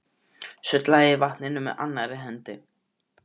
Sullaði í vatninu með annarri hendi.